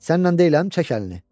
Sənnən deyiləm çək əlini.